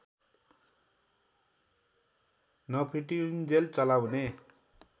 नफिटिउन्जेल चलाउने